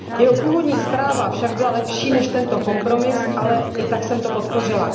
Jeho původní zpráva však byla lepší než tento kompromis, ale i tak jsem jej podpořila.